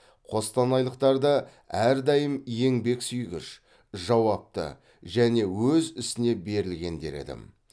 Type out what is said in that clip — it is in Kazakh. қостанайлықтарда әрдайым еңбексүйгіш жауапты және өз ісіне берілген дер едім